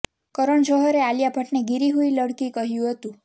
કરણ જૌહરે આલિયા ભટ્ટને ગિરી હુઈ લડ઼કી કહ્યુ હતું